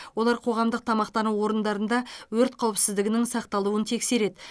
олар қоғамдық тамақтану орындарында өрт қауіпсіздігінің сақталуын тексереді